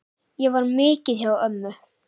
Ég var mikið hjá ömmu.